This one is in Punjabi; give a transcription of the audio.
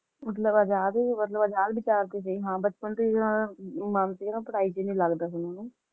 ਮਤਲਬ ਆਜ਼ਾਦ ਸੀ ਹਾਂ ਆਜ਼ਾਦ ਵਿਚਾਰ ਦੇ ਸੀ ਹਾਂ ਬਚਪਨ ਤੋਹ ਹੀ ਮਨ ਜਿਹੜਾ ਸੀ ਓਹਨਾ ਦਾ ਪੜ੍ਹਾਈ ਚ ਮਨ ਨੀ ਲਗਦਾ ਸੀ